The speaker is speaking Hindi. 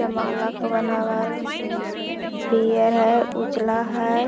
पीयर है उजला है।